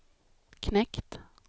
knekt